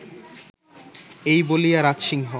এই বলিয়া রাজসিংহ